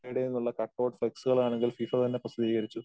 നിന്നുള്ള കട്ട്ഔട്ട് ഫ്ളക്സുകൾ ആണെങ്കിൽ ഫിഫ തന്നെ പ്രസിദ്ധീകരിച്ചു.